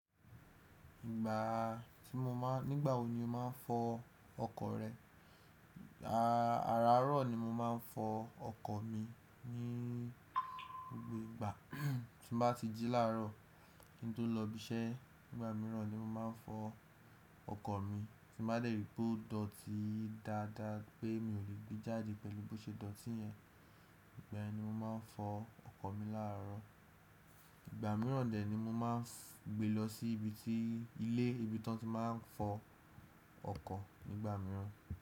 Ìgbà tí mo máa, nígbà wo ni o máa ń fọ ọkọ̀ rẹ? Ààràárọ̀ ni mo máa ń fọ ọkọ̀ mi ní gbogbo ìgbà. Tí n bá ti jí láàárọ̀ kí n tó lọ ibi iṣẹ́. Nígbà mìíràn ni mo máa ń fọ ọkọ̀ mi. Tí mo bá dèrè pé ó dọ̀tí dáadáa pé mi ò lè gbé jáde pẹ̀lú bó ṣe dọ̀tí yẹn, ìgbà yẹn ni mo máa ń fọ ọkọ̀ mi láàárọ̀. Ìgbà mìíràn dè ni mo máa ń gbe lọ sí ibi tí ilé ibi tí wọ́n ti máa ń fọ ọkọ̀ nígbà mìíràn.